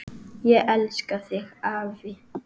Ég elska þig, afi.